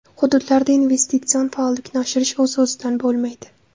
Hududlarda investitsion faollikni oshirish o‘z-o‘zidan bo‘lmaydi.